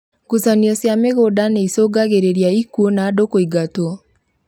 Ngucanio cia mĩgunda nĩicungagĩrĩria ikuũ na andũ kũingatwo